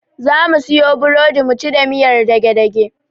Zamu siyo burodi muci da miyar dage-dage.